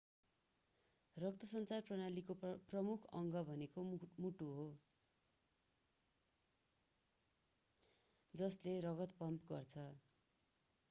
रक्तसञ्चार प्रणालीको प्रमुख अङ्ग भनेको मुटु हो जसले रगत पम्प गर्छ